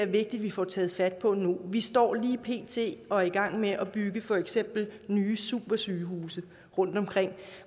vigtigt at vi får taget fat på det her nu vi står lige pt og er i gang med at bygge for eksempel nye supersygehuse rundtomkring